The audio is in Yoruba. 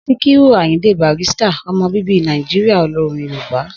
Síkírù Àyìndé Barrister ọmọ bíbí Nàìjíríyà olórin yoòbá